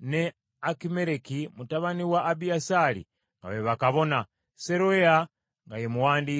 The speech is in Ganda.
ne Akimereki mutabani wa Abiyasaali nga be bakabona, Seroya nga ye muwandiisi,